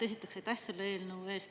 Esiteks, aitäh selle eelnõu eest!